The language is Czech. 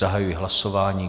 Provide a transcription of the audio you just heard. Zahajuji hlasování.